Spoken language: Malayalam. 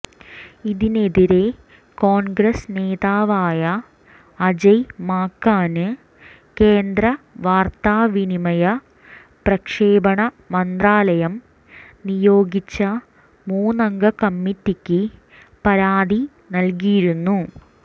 ഇതിനെതിരെ കോണ്ഗ്രസ് നേതാവായ അജയ് മാക്കന് കേന്ദ്ര വാര്ത്താവിനിമയ പ്രക്ഷേപണ മന്ത്രാലയം നിയോഗിച്ച മുന്നംഗ കമ്മിറ്റിക്ക് പരാതി നല്കിയിരുന്നു